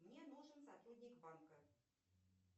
мне нужен сотрудник банка